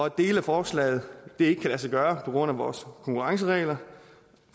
at dele af forslaget ikke kan lade sig gøre på grund af vores konkurrenceregler